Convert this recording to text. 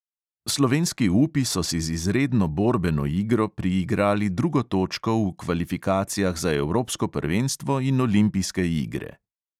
Slovenski upi so si z izredno borbeno igro priigrali drugo točko v kvalifikacijah za evropsko prvenstvo in olimpijske igre.